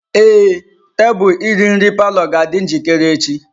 Ee, tebụl iri nri palọ ga-adị njikere echi.